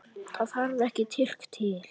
Það þarf ekki Tyrki til.